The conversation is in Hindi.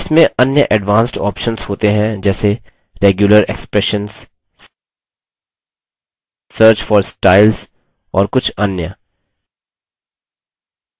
इसमें अन्य advanced options होते हैं जैसे regular expressions search for styles और कुछ अन्य